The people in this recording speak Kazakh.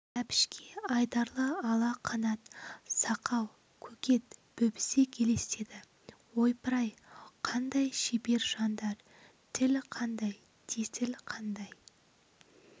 әбішке айдарлы ала қанат сақау көкек бөбісек елестеді ойпыр-ай қандай шебер жандар тіл қандай тесіл қандай